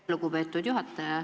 Aitäh, lugupeetud juhataja!